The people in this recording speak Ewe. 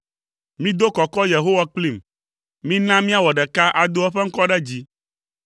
Mido kɔkɔ Yehowa kplim; mina míawɔ ɖeka ado eƒe ŋkɔ ɖe dzi.